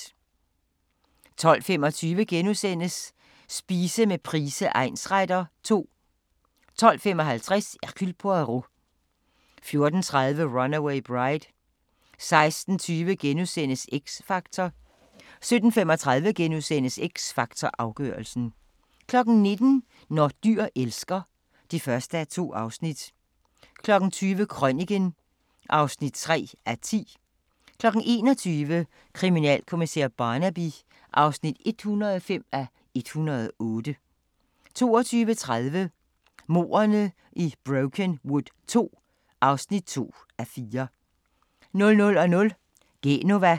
12:25: Spise med Price egnsretter II * 12:55: Hercule Poirot 14:30: Runaway Bride 16:20: X Factor * 17:35: X Factor Afgørelsen * 19:00: Når dyr elsker (1:2) 20:00: Krøniken (3:10) 21:00: Kriminalkommissær Barnaby (105:108) 22:30: Mordene i Brokenwood II (2:4) 00:00: Genova